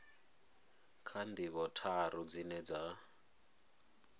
kha ndivho tharu dzine dza